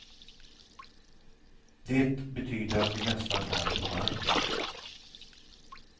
Det betyder att vi nästan är på marken.